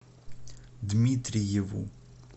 дмитриеву